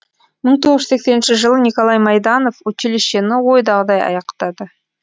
мың тоғыз жүз сексенінші жылы николай майданов училищені ойдағыдай аяқтады